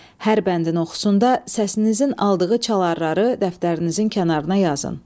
Hər bəndin oxusunda səsinizin aldığı çaları dəftərinizin kənarına yazın.